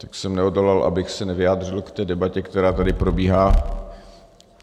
Tak jsem neodolal, abych se nevyjádřil k té debatě, která tady probíhá.